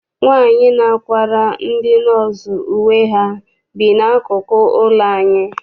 Nwaanyi na-akwara ndị nọọsụ uwe ha bi n'akụkụ ụlọ anyị.